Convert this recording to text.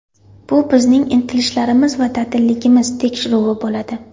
Bu bizning intilishlarimiz va dadilligimiz tekshiruvi bo‘ladi.